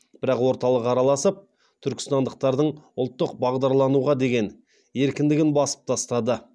бірақ орталық араласып түркістандықтардың ұлттық бағдарлануға деген еркіндігін басып тастады